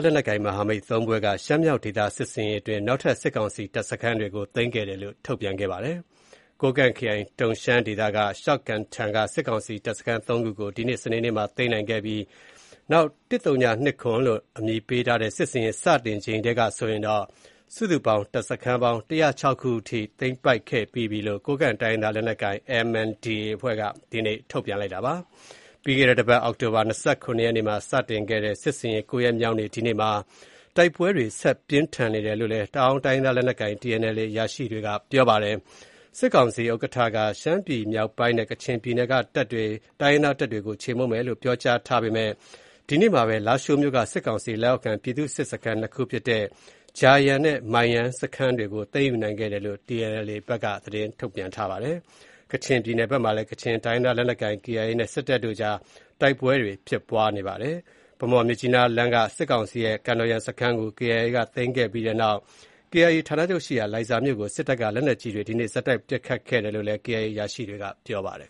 လက်နက်ကိုင် မဟာမိတ် ၃ ဖွဲ့က ရှမ်းမြောက်ဒေသ စစ်ဆင်ရေးအတွင်း နောက်ထပ် စစ်ကောင်စီ တပ်စခန်းတွေကို သိမ်းခဲ့တယ်လို့ ထုတ်ပြန်ခဲ့ပါတယ်။ ကိုးကန့်ခရိုင်၊ တုန်းရှမ်းဒေသ၊ ရှောက်ကန်ထန်က စစ်ကောင်စီတပ်စခန်း ၃ ခုကို ဒီနေ့စနေနေ့မှာ သိမ်းနိုင်ခဲ့ပြီးနောက် ၁၀၂၇ လို့ နာမည်ပေးထားတဲ့ စစ်ဆင်ရေး စတင်ခဲ့ချိန်ထဲကဆိုရင် စုစုပေါင်း တပ်စခန်း ၁၀၆ ခု အထိ သိမ်းပိုက် ခဲ့ပြီးပြီလို့ ကိုးကန့်တိုင်းရင်းသားလက်နက်ကိုင် MNDAA က ဒီနေ့ထုတ်ပြန်ပါတယ်။ ပြီးခဲ့တဲ့တပတ် အောက်တိုဘာ ၂၇ နေ့မှာ စခဲ့တဲ့စစ်ဆင်ရေး ၉ ရက်မြောက်နေ့မှာ၊ တိုက်ပွဲတွေဆက်လက် ပြင်းထန်နေတယ်လို့ တအာင်းတိုင်းရင်းသားလက်နက်ကိုင် TNLA အရာရှိကလည်း ပြောပါတယ်။ စစ်ကာင်စီဥက္ကဋ္ဌက ရှမ်းပြည်မြောက်ပိုင်းနဲ့ကချင်ပြည်နယ်က တပ်တွေကို ချေမှုန်းမယ်လို့ ပြောကြားထား ပေမဲ့ ဒီနေ့မှာပဲ လားရှိုးမြို့က စစ်ကောင်စီ လက်အောက်ခံ ပြည်သူ့စစ်ခန်း ၂ ခုဖြစ်တဲ့ ဂျာယန်နဲ့ မိုင်းယန်း စခန်းတွေကို သိမ်းယူနိုင်ခဲ့တယ်လို့ TNLA တပ်က သတင်းထုတ်ပြန်ထားပါတယ်။ ကချင်ပြည်နယ်ဘက်မှာလည်း ကချင်တိုင်းရင်းသားလက်နက်ကိုင် KIA နဲ့ စစ်တပ်တို့ကြား တိုက်ပွဲ ဖြစ်ပွား နေပါတယ်။ ဗန်းမော်-မြစ်ကြီးနားလမ်းက စစ်ကောင်စီရဲ့ ကန်တော်ယန်စခန်းကို KIA က သိမ်းခဲ့ပြီးနောက် KIA ဌာနချုပ်ရှိရာ လိုင်ဇာမြို့ကို စစ်တပ်က လက်နက်ကြီးတွေ ဒီနေ့ဆက်တိုက် ပစ်ခတ်ခဲ့တယ်လို့ KIA အရာရှိကပြောပါတယ်။